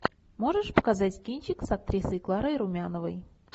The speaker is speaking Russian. можешь показать кинчик с актрисой кларой румяновой